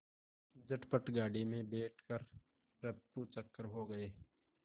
झटपट गाड़ी में बैठ कर ऱफूचक्कर हो गए